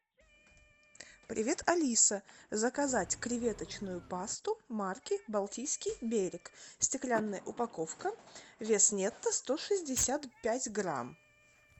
привет алиса заказать креветочную пасту марки балтийский берег стеклянная упаковка вес нетто сто шестьдесят пять грамм